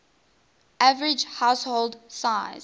average household size